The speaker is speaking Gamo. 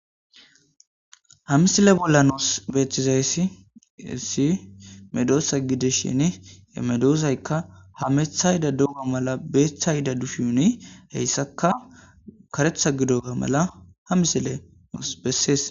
Ha misile bolla nuus beethizayssiyssi hessi medoosa gidishini hemedoosaykka hamethayda dooma mala beeththayda dushiwuni hessakka karetha gidoooga mala ha misile nuus bessees.